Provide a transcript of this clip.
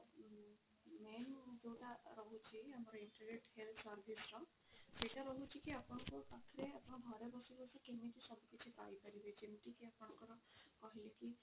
ଆମର ଉ main ଯୋଉଟା ରହୁଛି ଆମର integrate health service ର ସେଇଟା ରହୁଛି କି ଆପଣଙ୍କ ପାଖରେ ଆପଣ ଘରେ ବସି ବସି କେମିତି ସବୁ କିଛି ପାଇ ପାରିବେ ଯେମିତିକି ଆପଣଙ୍କର କହିଲି କି